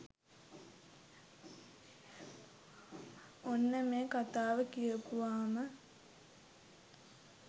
ඔන්න මේ කතාව කියපුවාම